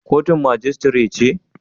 Kotun majistire ce?